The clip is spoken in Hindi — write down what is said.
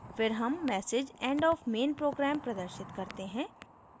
फिर हम message end of main program प्रदर्शित करते हैं